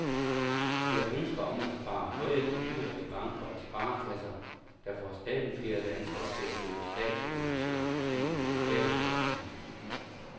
Det er ønsker om at spare høje gebyrer i banker og sparekasser, der får stadigt flere danskere til at købe statsobligationer gennem de lokale posthuse.